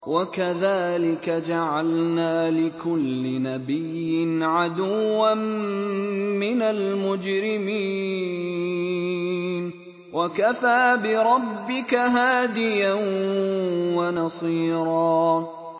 وَكَذَٰلِكَ جَعَلْنَا لِكُلِّ نَبِيٍّ عَدُوًّا مِّنَ الْمُجْرِمِينَ ۗ وَكَفَىٰ بِرَبِّكَ هَادِيًا وَنَصِيرًا